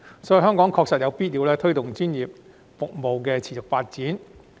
所以，香港確實有必要推動專業服務的持續發展。